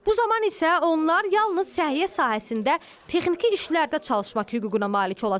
Bu zaman isə onlar yalnız səhiyyə sahəsində texniki işlərdə çalışmaq hüququna malik olacaqlar.